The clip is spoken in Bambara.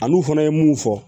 Ani u fana ye mun fɔ